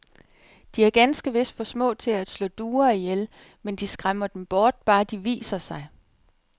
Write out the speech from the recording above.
De er ganske vist for små til at slå duer ihjel, men de skræmmer dem bort, bare de viser sig.